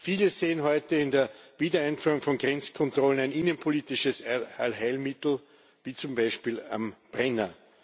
Viele sehen heute in der Wiedereinführung von Grenzkontrollen ein innenpolitisches Allheilmittel, wie zum Beispiel am Brenner.